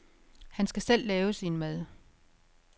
Han skal selv lave sin mad.